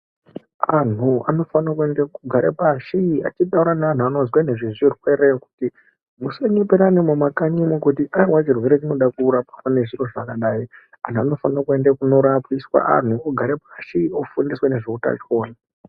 Antu anofanire kuende achigara pashi achitaura nevanhu nevanoziya ngezvezvirwere. Musanyepersna mukanyi umu kuti aiwa zvirwere zvinoda kurapwa ngezviro zvakadayi. Antu anofanire uenda kunorapiswa antu ogara pashi ofundiswa ngezveutachiwona.